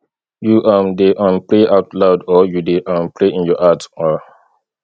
you um dey um dey pray out loud or you dey um pray in your heart um